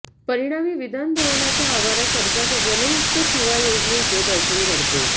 परिणामी विधानभवनाच्या आवारात सरकारच्या जलयुक्त शिवार योजनेचे दर्शन घडले